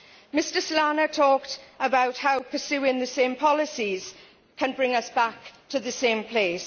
Mr Solana talked about how pursuing the same policies can bring us back to the same place.